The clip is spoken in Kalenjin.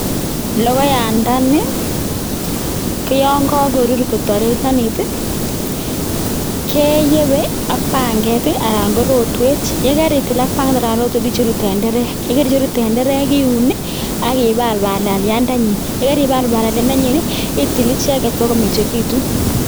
Logoyandani ko yan kakorur kotarerenit i. Keyepe ak panget anan konrotwet. Ye kaitil ak panget anan ko rotwet icheru tenderek, ye kaicheru tenderek iun i akipal palaliandenyin, ye kaipal palaliandnyin itil icheget pak komengekitu.